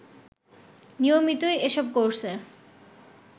নিয়মিতই এসব কোর্সের